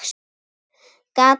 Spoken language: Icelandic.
Gat nú verið!